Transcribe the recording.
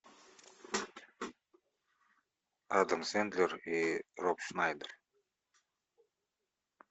адам сэндлер и роб шнайдер